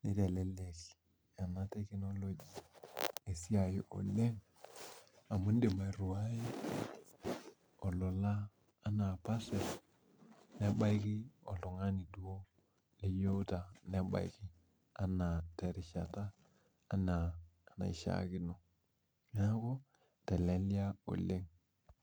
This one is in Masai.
neitelelek esiai oleng amu indii airiwai olola enaa parcel nebaiki oltung'ani duo oyieuta obaiki enaa terishata enaa enaishiakino neeku eiteleliaa oleng